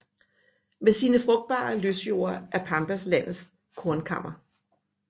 Med sine frugtbare løsjorder er Pampas landets kornkammer